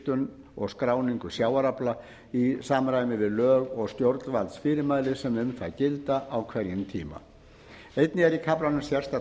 vigtun og skráningu sjávarafla í samræmi við lög og stjórnvaldsfyrirmæli sem um það gilda á hverjum tíma einnig er í kaflanum sérstakt ákvæði